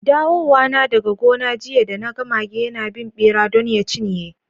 Dawowana daga gona jiya da, na ga mage yana bin bera don ya cinyer.